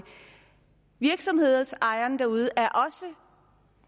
virksomhedsejerne derude er også